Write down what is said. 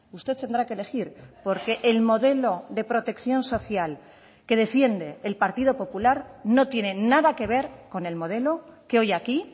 usted tendrá que elegir porque el modelo de protección social que defiende el partido popular no tiene nada que ver con el modelo que hoy aquí